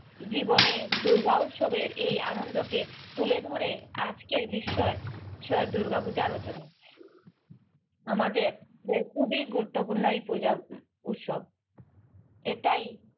জীবনে দুর্গোৎসবের এই আনন্দকে তুলে ধরে আজকের বিষয় দুর্গাপূজা রচনা, আমাদের যে খুবই গুরুত্বপূর্ণ এই পূজা উৎসব এটাই